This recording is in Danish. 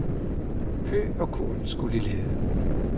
Hø og korn skulle i lade.